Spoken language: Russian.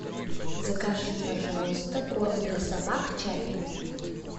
закажи пожалуйста корм для собак чаппи